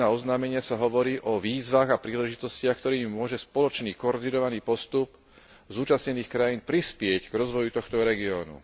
2.1 oznámenia sa hovorí o výzvach a príležitostiach, ktorými môže spoločný koordinovaný postup zúčastnených krajín prispieť k rozvoju tohto regiónu.